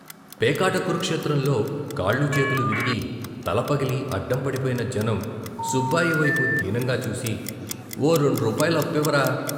పేకాట కురుక్షేత్రంలో కాళ్ళూ చేతులూ విరిగి, తలపగిలి అడ్డం పడిపోయిన జనం సుబ్బాయి వైపు దీనంగా చూసి " ఓ రెండు రూపాయలప్పివ్వరా?